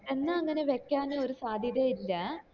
എന്നാ അങ്ങനെ വെക്കാന് ഒരു സത്യത ഇല്ലാ